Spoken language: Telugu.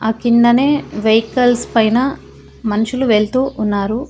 ఆ కిందనే వెహికల్స్ పైన మనుషులు వెళ్తూ ఉన్నారు.